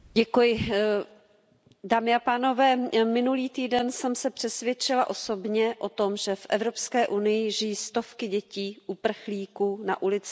Pane předsedající, minulý týden jsem se přesvědčila osobně o tom, že v Evropské unii žijí stovky dětí uprchlíků na ulici a bez ochrany.